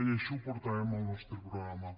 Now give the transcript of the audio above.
i així ho portàvem al nostre programa